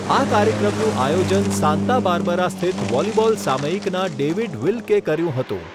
આ કાર્યક્રમનું આયોજન સાંતા બાર્બરા સ્થિત વોલીબોલ સામાયિકના ડેવિડ વિલ્કે કર્યું હતું.